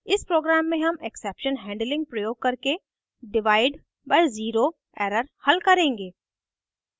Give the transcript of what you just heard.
इस program में हम exception handling प्रयोग करके डिवाइड by zero error हल करेंगे